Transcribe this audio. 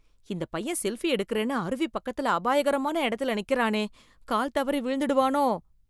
இந்த பையன் செல்ஃபி எடுக்கறேன்னு, அருவி பக்கத்துல, அபாயகரமான இடத்துல நிக்கறானே... கால் தவறி விழுந்துடுவானோ...